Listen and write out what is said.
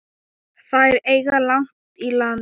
Þær eiga langt í land.